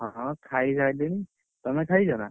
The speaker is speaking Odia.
ହଁ ଖାଇ ସାରିଲେଣି, ତମେ ଖାଇଛ ନା?